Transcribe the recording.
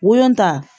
Wolon ta